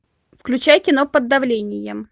включай кино под давлением